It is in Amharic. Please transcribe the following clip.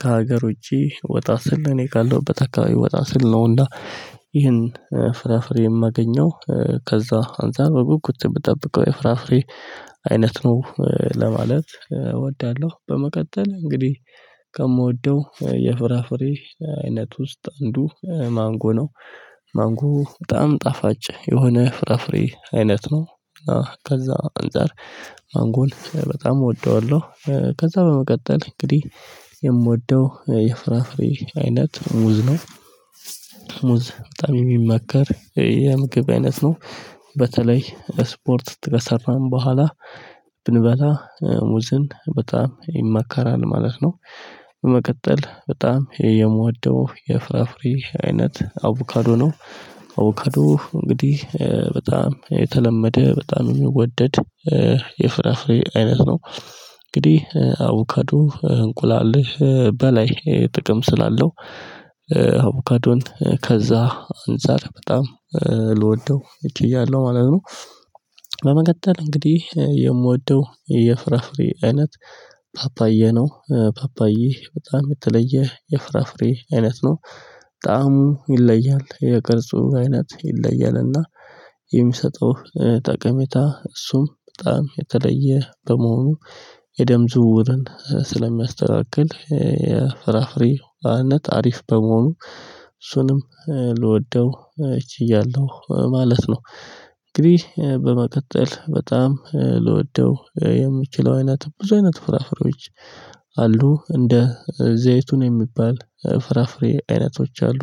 ከሀገር ውጪ ወጣ ስል እኔ ካለሁበት አካባቢ ወጣ ስል ነው እና ይህን ፍራፍሬ እማገኘው። ከዛ አንተ በጉጉት ምትጠብቀው የፍራፍሬ አይነት ነው ለማለት እወዳሎህ። በመቀጠል እንግዲህ ከምወደው የፍራፍሬ አይነት ውስጥ አንዱ ማንጎ ነው። ማንጎ በጣም ጣፋጭ የሆነ ፍራፍሬ አይነት ነው። ከዛ አንፃር ማንጎን በጣም እወደዋለው። ከዛ በመቀጠል እንግዲህ የምወደው የፍራፍሬ አይነት ሙዝ ነው። ሙዝ በጣም የሚመከር የምግብ አይነት ነው። በተለይ እስፖርት ከሰራን በኋላ ብንበላ ሙዝን በጣም ይመከራል ማለት ነው። በመቀጠል በጣም የምወደው የፍራፍሬ አይነት አቮካዶ ነው። አቮካዶ እንግዲህ በጣም የተለመደ በጣም የሚወደድ የፍራፍሬ አይነት ነው። እንግዲህ አቮካዶ እንቁላል በላይ ጥቅም ስላለው አቮካዶን ከዛ አንፃር በጣም ልወደው ችያለው ማለት ነው። በመቀጠል እንግዲህ የምወደው የፍራፍሬ አይነት ፓፓዬ ነው። ፓፓዬ በጣም የተለየ የፍራፍሬ አይነት ነው። በጣም ይለያል የቅርጹ አይነት ይለያልና። የሚሰጠው ጠቀሜታ እሱም በጣም የተለየ በመሆኑ። የደም ዝውውርን ስለሚያስተናግድ የፍራፍሬ ዋናነት አሪፍ በመሆኑ። እሱንም ልወደው ችያለው ማለት ነው። እንግዲህ በመቀጠል በጣም ልወደው የምችለው አይነት ብዙ አይነት ፍራፍሬዎች አሉ እንደ ዘይትሁን የሚባል ፍራፍሬ አይነቶች አሉ።